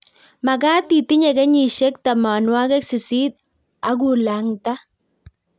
mekat itinye kenyisiek tamanwek sisit akulang'ta